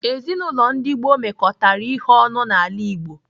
Ezinaụlọ ndi gboo mekọtara ihe ọnụ n'ala Igbo.